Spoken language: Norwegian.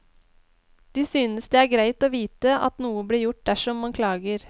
De synes det er greit å vite at noe blir gjort dersom man klager.